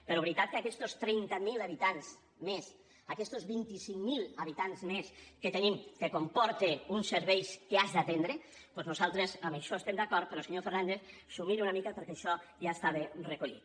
però veritat que aquestos vint i cinc mil habitants més que tenim comporten uns serveis que has d’atendre doncs nosaltres en això estem d’acord però senyor fernandez miri s’ho una mica perquè això ja estava recollit